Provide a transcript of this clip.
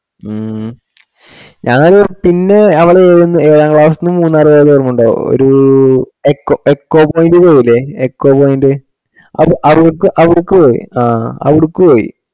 മ്മ് ഉം ഞാന് പിന്നെ നമ്മള ഏയ്‌ന്ന്ഏഴാം class ന്ന് മൂന്നാർ പോയത്‌ ഓർമണ്ടോ ഒര് echo echo point പോയില്ലേ echo point അവടക്ക് പോയി